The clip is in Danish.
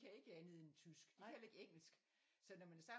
Kan ikke andet end tysk de kan heller ikke engelsk så når man er sammen